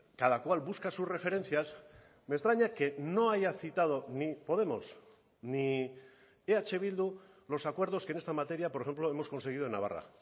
cada cual busca sus referencias me extraña que no haya citado ni podemos ni eh bildu los acuerdos que en esta materia por ejemplo hemos conseguido en navarra